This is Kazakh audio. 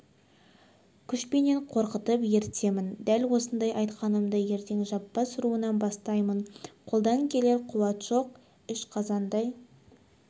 күшпенен қорқытып ертемін дәл осы айтқанымды ертең жаппас руынан бастаймын қолдан келер қуат жоқ іш қазандай